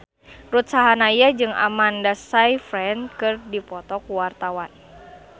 Ruth Sahanaya jeung Amanda Sayfried keur dipoto ku wartawan